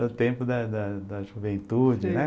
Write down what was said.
No tempo da da da juventude, né?